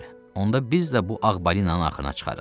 Onda biz də bu ağ balinanın axrına çıxarıq.